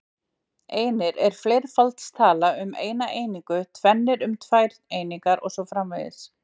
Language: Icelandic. Einir er fleirfaldstala um eina einingu, tvennir um tvær einingar og svo framvegis.